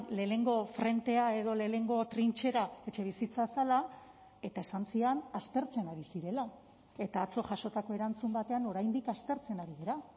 lehenengo frentea edo lehenengo trintxera etxebizitza zela eta esan zidan aztertzen ari zirela eta atzo jasotako erantzun batean oraindik aztertzen ari dira